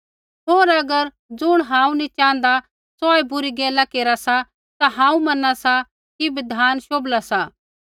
होर अगर ज़ुण हांऊँ नी च़ाँहदा सोऐ बुरी गैला केरा सा ता हांऊँ मना सा कि बिधान शोभला सा